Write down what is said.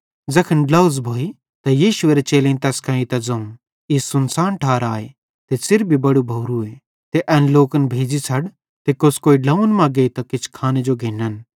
ज़ैखन ड्लोझ़ भोइ त यीशुएरे चेलेईं तैस कां एइतां ज़ोवं ई सुनसान ठार आए त च़िर भी बड़ू भोरू आए ते एन लोकन भेज़ी छ़ड ते कोस्कोई ड्लोंव्वन मां गेइतां किछ खाने जो घिन्न